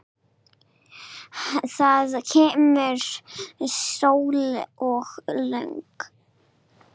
Það kemur sól og logn.